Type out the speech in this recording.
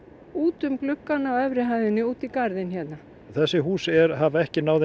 út um gluggana á efri hæðinni út í garðinn hérna þessi hús hafa ekki náð þeim